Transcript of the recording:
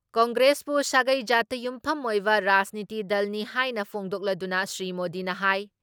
ꯀꯪꯒ꯭ꯔꯦꯁꯄꯨ ꯁꯥꯒꯩ ꯖꯥꯠꯇ ꯌꯨꯝꯐꯝ ꯑꯣꯏꯕ ꯔꯥꯖꯅꯤꯇꯤ ꯗꯜꯅꯤ ꯍꯥꯏꯅ ꯐꯣꯡꯗꯣꯛꯂꯗꯨꯅ ꯁ꯭ꯔꯤ ꯃꯣꯗꯤꯅ ꯍꯥꯏ